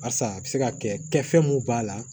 Barisa a bɛ se ka kɛ kɛfɛn mun b'a la